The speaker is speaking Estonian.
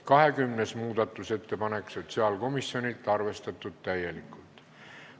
20. muudatusettepanek sotsiaalkomisjonilt, arvestatud täielikult.